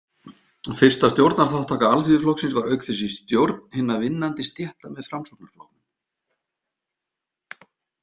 Fyrsta stjórnarþátttaka Alþýðuflokksins var auk þess í Stjórn hinna vinnandi stétta með Framsóknarflokknum.